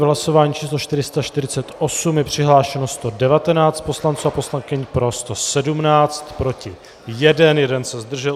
V hlasování číslo 448 je přihlášeno 119 poslanců a poslankyň, pro 117, proti 1, 1 se zdržel.